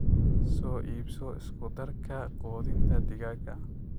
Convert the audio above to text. Soo iibso isku-darka quudinta digaagga.